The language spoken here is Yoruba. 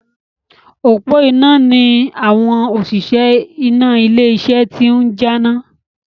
Òpó iná ni àwọn òṣìṣẹ́ iná ilé iṣẹ́ iná ti ń jáná.